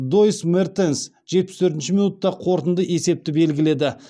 доис мертенс жетпіс төртінші минутта қорытынды есепті белгіледі